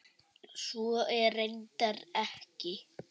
Svo er reyndar ekki.